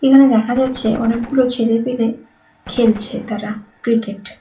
এখানে দেখা যাচ্ছে অনেকগুলো ছেলে-পেলে খেলছে তারা ক্রিকেট ।